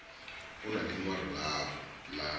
na ḽi ṅwalo ḽavho ḽa